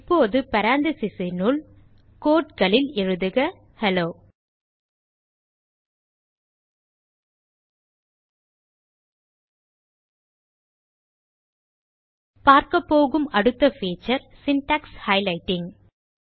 இப்போது paranthesis னுள் quoteகளில் எழுதுக ஹெல்லோ பார்க்கபோகும் அடுத்த பீச்சர் சின்டாக்ஸ் ஹைலைட்டிங்